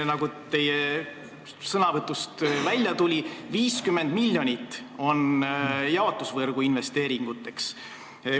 Nagu teie sõnavõtust välja tuli, 50 miljonit on ette nähtud jaotusvõrgu investeeringuteks.